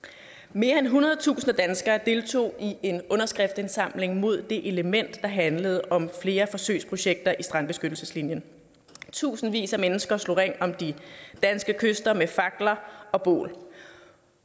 mere end hundredtusinde danskere deltog i en underskriftindsamling mod det element der handlede om flere forsøgsprojekter inden strandbeskyttelseslinjen tusindvis af mennesker slog ring om de danske kyster med fakler og bål